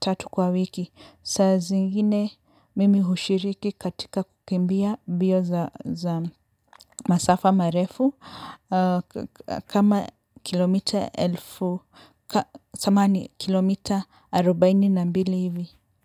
tatu kwa wiki. Saa zingine, mimi hushiriki katika kukimbia bio za masafa marefu kama kilomita elfu, samani kilomita arubaini na mbili hivi.